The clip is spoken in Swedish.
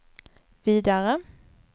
vidare